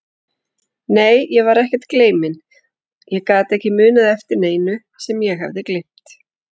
Nei, ég var ekkert gleyminn, ég gat ekki munað eftir neinu sem ég hafði gleymt.